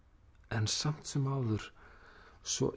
en samt sem áður svo